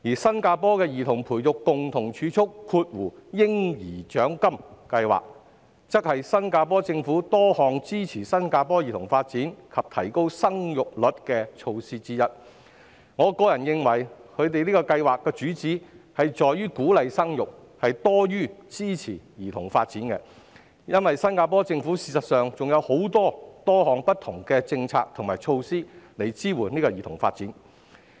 新加坡的兒童培育共同儲蓄計劃，則是新加坡政府多項支持新加坡兒童發展及提高生育率的措施之一，我認為該計劃旨在鼓勵生育多於支持兒童發展，因為事實上新加坡政府亦有推行多項不同的政策及措施，支援兒童發展。